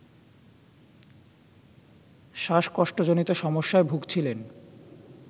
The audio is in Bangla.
শ্বাসকষ্টজনিত সমস্যায় ভুগছিলেন